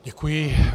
Děkuji.